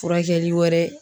Furakɛli wɛrɛ